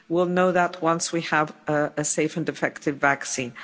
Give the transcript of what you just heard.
We will know that once we have a safe and effective vaccine.